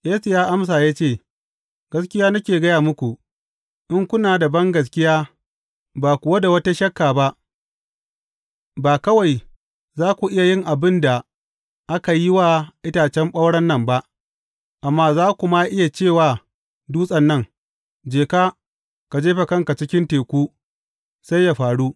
Yesu ya amsa ya ce, Gaskiya nake gaya muku, in kuna da bangaskiya, ba kuwa da wata shakka ba, ba kawai za ku iya yin abin da aka yi wa itacen ɓauren nan ba, amma za ku ma iya ce wa dutsen nan, Je ka, ka jefa kanka cikin teku,’ sai yă faru.